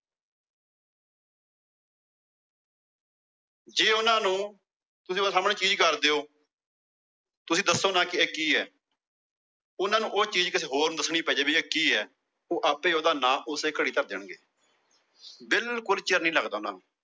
ਜੇ ਉਹਨਾਂ ਨੂੰ ਤੁਸੀਂ ਉਹਨਾਂ ਦੇ ਸਾਹਮਣੇ ਚੀਜ਼ ਕਰ ਦਿਓ। ਤੁਸੀਂ ਦੱਸੋ ਨਾ ਇਹ ਕਿ ਏ। ਉਹਨਾਂ ਨੂੰ ਉਹ ਚੀਜ਼ ਕਿਸੇ ਹੋਰ ਨੂੰ ਦੱਸਣੀ ਪੈ ਕਿ ਏ। ਉਹ ਆਪੇ ਉਹਦਾ ਨਾ ਉਸੇ ਘੜੀ ਧਰ ਦੇਣਗੇ। ਬਿਲਕੁਲ ਚਿਰ ਨਹੀਂ ਲੱਗਦਾ ਉਹਨਾਂ ਨੂੰ।